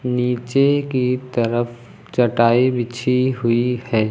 नीचे की तरफ चटाई बिछी हुईं हैं।